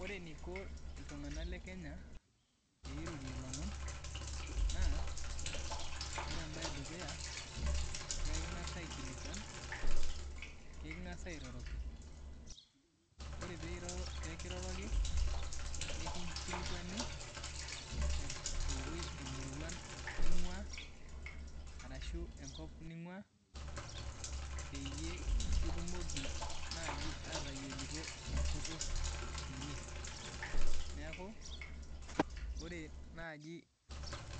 Ore neiko iltunganak le Kenya peirorie lomon naa ore embaye edukuya lengas aikilikwan, kingas airoroki, ore peekiroroki, nikinkilikwani eweji ninguna, arashu enkop ninguna, peyie kitumoki naaji ateyioloto enkutuk inyi, neaku ore naaji